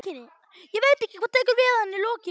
Ég veit ekki hvað tekur við að henni lokinni.